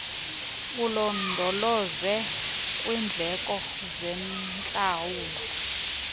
ulondoloze kwiindleko zentlawulo